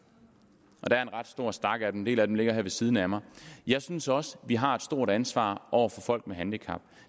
der er en ret stor stak af en del af dem ligger her ved siden af mig jeg synes også vi har et stort ansvar over for folk med handicap